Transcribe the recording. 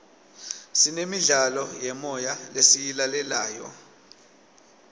sinemidlalo yemoya lesiyilalelayo